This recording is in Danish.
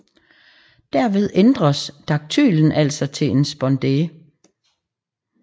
Derved ændres daktylen altså til en spondæ